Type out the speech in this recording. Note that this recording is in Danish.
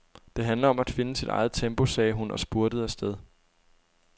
Det handler om at finde sit eget tempo, sagde hun og spurtede afsted.